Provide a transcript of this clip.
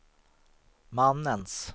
mannens